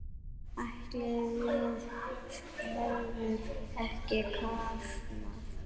Ætli við hefðum ekki kafnað?